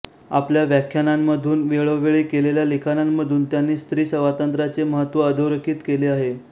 आपल्या व्याख्यानांमधून वेळोवेळी केलेल्या लिखाणांमधून त्यांनी स्त्रीस्वातंत्र्याचे महत्त्व अधोरेखित केले आहे